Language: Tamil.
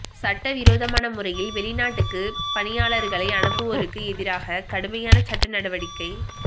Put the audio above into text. சட்டவிரோதமான முறையில் வெளிநாட்டுக்கு பணியாளர்களை அனுப்புவோருக்கு எதிராக கடுமையான சட்ட நடவடிக்கை